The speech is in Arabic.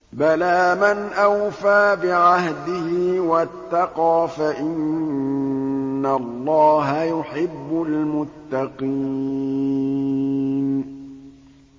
بَلَىٰ مَنْ أَوْفَىٰ بِعَهْدِهِ وَاتَّقَىٰ فَإِنَّ اللَّهَ يُحِبُّ الْمُتَّقِينَ